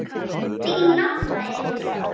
Þín nafna, Elísa.